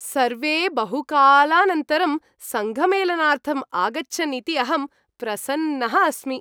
सर्वे बहुकालानन्तरं सङ्घमेलनार्थम् आगच्छन् इति अहं प्रसन्नः अस्मि।